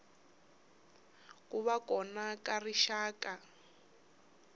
ku va kona ka rixaka